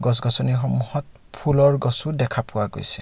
গছ-গছনি সমূহত ফুলৰ গছো দেখা পোৱা গৈছে।